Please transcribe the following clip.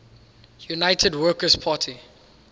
united workers party